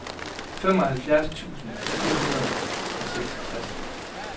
femoghalvfjerds tusind fire hundrede og seksogtres